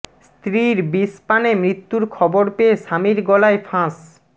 স্ত্রীর বিষ পানে মৃত্যুর খবর পেয়ে স্বামীর গলায় ফাঁস